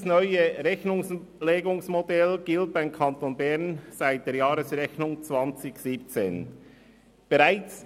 Dieses neue Rechnungslegungsmodell gilt für den Kanton Bern seit der Jahresrechnung 2017.